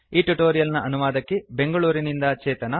ಈ ಟ್ಯುಟೋರಿಯಲ್ ನ ಅನುವಾದಕಿ ಬೆಂಗಳೂರಿನಿಂದ ಚೇತನಾ